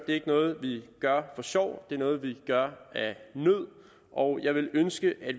ikke noget vi gør for sjov det er noget vi gør af nød og jeg ville ønske at